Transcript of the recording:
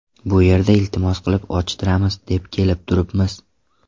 Bu yerda iltimos qilib ochtiramiz, deb kelib turibmiz.